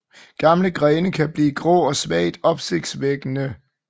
Gamle grene kan blive grå og svagt opsprækkende